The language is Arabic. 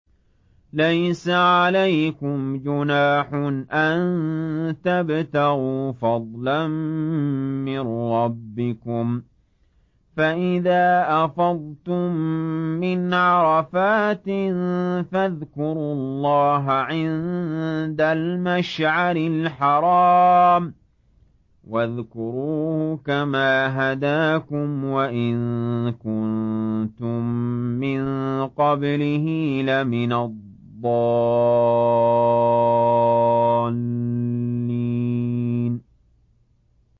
لَيْسَ عَلَيْكُمْ جُنَاحٌ أَن تَبْتَغُوا فَضْلًا مِّن رَّبِّكُمْ ۚ فَإِذَا أَفَضْتُم مِّنْ عَرَفَاتٍ فَاذْكُرُوا اللَّهَ عِندَ الْمَشْعَرِ الْحَرَامِ ۖ وَاذْكُرُوهُ كَمَا هَدَاكُمْ وَإِن كُنتُم مِّن قَبْلِهِ لَمِنَ الضَّالِّينَ